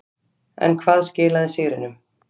En hvað skilaði sigrinum.